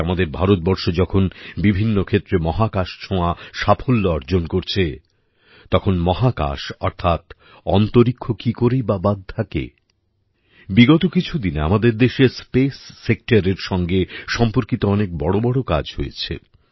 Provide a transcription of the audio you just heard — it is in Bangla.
আজ আমাদের ভারতবর্ষ যখন বিভিন্ন ক্ষেত্রে মহাকাশ ছোঁয়া সাফল্য অর্জন করছে তখন মহাকাশ অর্থাৎ অন্তরীক্ষ কী করেই বা বাদ থাকে বিগত কিছু দিনে আমাদের দেশে স্পেস সেক্টরের সঙ্গে সম্পর্কিত অনেক বড় বড় কাজ হয়েছে